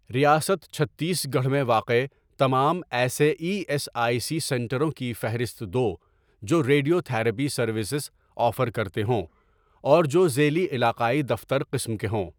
ریاست چھتیس گڑھ میں واقع تمام ایسے ای ایس آئی سی سنٹروں کی فہرست دو جو ریڈیو تھراپی سروسز آفر کرتے ہوں اور جو ذیلی علاقائی دفتر قسم کے ہوں۔